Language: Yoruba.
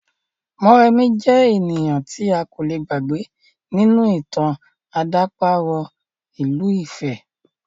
Mọ́remí jẹ́ ènìyàn tí a kò le gbàgbé nínú ìtàn àdàparo ìlú ifẹ̀